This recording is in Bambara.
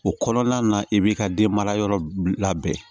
O kɔnɔna na i b'i ka den mara yɔrɔ labɛn